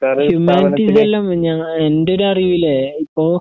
ഹ്യൂമാനിറ്റീസെല്ലാം ഞഎന്റൊരുറിവിലെ ഇപ്പോ